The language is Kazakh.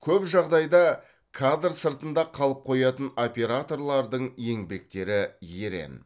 көп жағдайда кадр сыртында қалып қоятын операторлардың еңбектері ерен